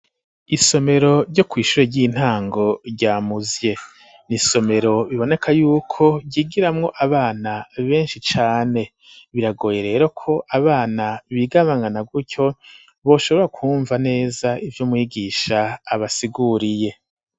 Isomero ryo kw'ishure ry'intango rya Muzye. Ni isomero biboneka yuko higiramwo abana benshi cane. Biragoye rero ko abana bigabangana, gutyo boshobora kwumva neza ivyo mwigisha abasiguriye.